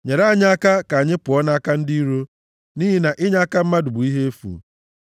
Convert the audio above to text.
Nyere anyị aka ka anyị pụọ nʼaka ndị iro, nʼihi na inyeaka mmadụ bụ ihe efu.